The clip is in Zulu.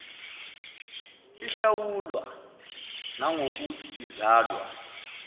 ihlawulwa nangokuthi izalwa